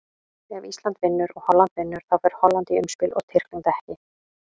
Ef Ísland vinnur og Holland vinnur, þá fer Holland í umspilið og Tyrkland ekki.